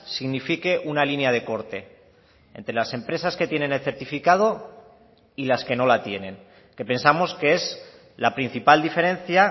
signifique una línea de corte entre las empresas que tienen el certificado y las que no la tienen que pensamos que es la principal diferencia